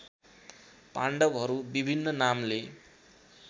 पाण्डवहरू विभिन्न नामले